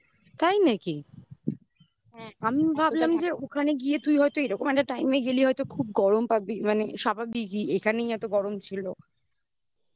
তাই নাকি? হ্যাঁ আমি ভাবতাম যে ওখানে গিয়ে তুই হয়তো এরকম একটা time এ গেলে হয়তো খুব গরম পাবি মানে স্বাভাবিকই এখানেই এত গরম ছিল